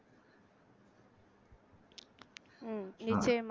உம் நிச்சயமா